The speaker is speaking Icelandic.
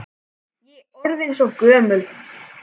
Ég er orðin svo gömul.